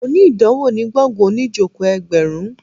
Mo ní ìdánwò ní gbọ̀ngàn oníìjòkó ẹgbẹ̀rún